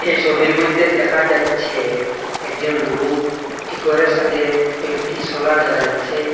এই ছবির মইধ্যে দেখা যাচ্ছে একজন লোক একটি গরের সাথে কয়েকটি সোলার দেখা যাচ্ছে।